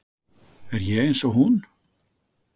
Er ég eins og hún?